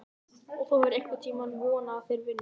Og hefur þú einhvern tímann vonað að þeir vinni?